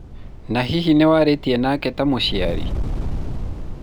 na hihi nĩwarĩtie nake ta mũciari?